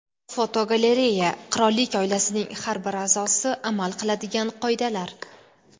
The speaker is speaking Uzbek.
Fotogalereya: Qirollik oilasining har bir a’zosi amal qiladigan qoidalar.